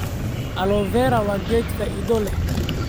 Aloe vera waa geed faa'iido leh.